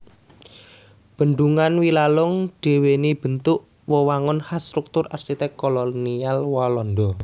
Bendhungan Wilalung duwéni bentuk wewangunan khas struktur arsitek kolonial Walanda